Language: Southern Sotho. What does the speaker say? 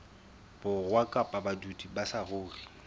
borwa kapa badudi ba saruri